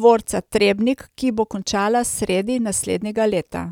dvorca Trebnik, ki bo končana sredi naslednjega leta.